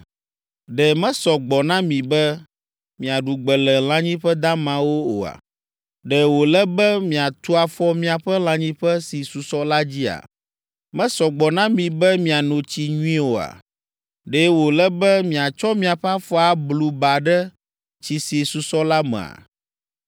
Ɖe mesɔ gbɔ na mi be miaɖu gbe le lãnyiƒe damawo oa? Ɖe wòle be miatu afɔ miaƒe lãnyiƒe si susɔ la dzia? Mesɔ gbɔ na mi be miano tsi nyui oa? Ɖe wòle be miatsɔ miaƒe afɔ ablu ba ɖe tsi si susɔ la mea?